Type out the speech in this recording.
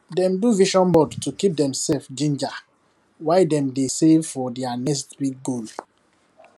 dem do vision board to keep demself ginger while dem dey save for their next big goal